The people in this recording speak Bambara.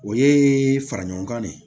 O ye fara ɲɔgɔn kan de